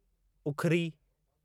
उखिरी